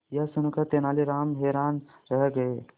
यह सुनकर तेनालीराम हैरान रह गए